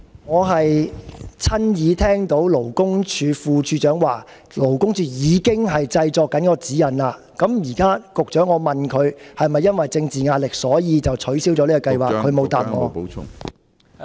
我是親耳聽到勞工處副處長表示，勞工處正在製作相關指引，我問局長現在是否因為政治壓力而取消了這個計劃，他沒有回答。